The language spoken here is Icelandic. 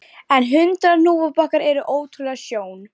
En hundrað hnúfubakar eru ótrúleg sjón